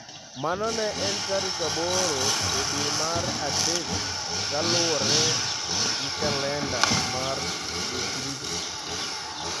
Mano ne en tarik 8 e dwe mar adek kaluwore gi kalenda mar Jo-Grik.